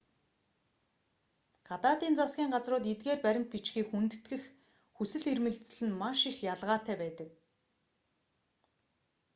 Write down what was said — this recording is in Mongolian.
гадаадын засгийн газрууд эдгээр баримт бичгийг хүндэтгэх хүсэл эрмэлзэл нь маш их ялгаатай байдаг